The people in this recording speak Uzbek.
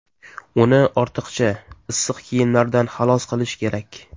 Uni ortiqcha issiq kiyimlardan xalos qilish kerak.